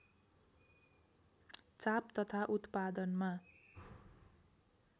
चाप तथा उत्पादनमा